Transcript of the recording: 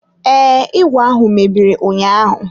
Ee, ìgwè ahụ mebiri ụnyaahụ.